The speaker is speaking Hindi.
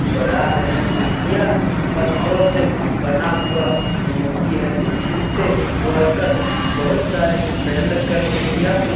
बड़ा है यह पत्थरों से बना हुआ मूर्ति है उसपे वर्कर मेहनत करके यह मूर्ति--